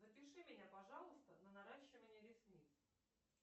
запиши меня пожалуйста на наращивание ресниц